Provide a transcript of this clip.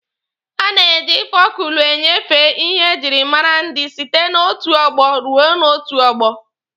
A na-eji fọlkụlọ enyefe ihe e jiri mara ndị site n'otu ọgbọ ruo n'otu ọgbọ.